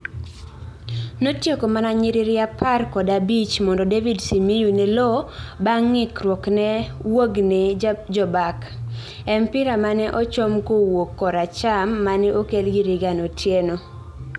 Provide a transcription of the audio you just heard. notieko mana nyiriri apar kod abich mondo David Simiyu ne loo bang ngikruokne wuogne jobak,e mpira mane ochom kowuok kor acham mane okelgi Reagan otieno